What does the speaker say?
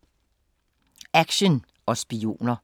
Action og spioner